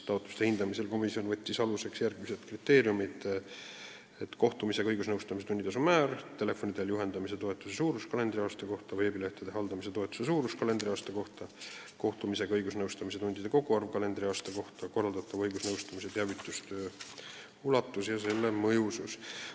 Taotluste hindamisel võttis komisjon aluseks järgmised kriteeriumid: kohtumisega õigusnõustamise tunnitasu määr, telefoni teel juhendamise toetuse suurus kalendriaasta kohta, veebilehtede haldamise toetuse suurus kalendriaasta kohta, kohtumisega õigusnõustamise tundide koguarv kalendriaasta kohta, korraldatava õigusnõustamise teavitustöö ulatus ja selle mõjusus.